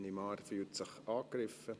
Ich nehme an, er fühlt sich angegriffen.